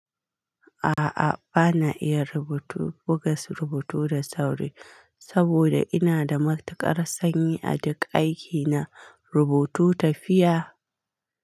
A'a, ba na iya rubutu buga su rubutu da sauri saboda ina da matuƙar sanyi a duk aiki na rubutu tafiya.